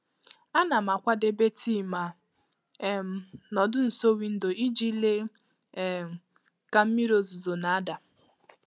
A nam akwadebe tii ma um nọ ọdụ nso windo ijii lee um ka mmiri ozuzo na-ada.